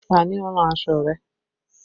Ta ni ó rán aṣọ rẹ?